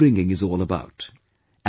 This is what upbringing is all about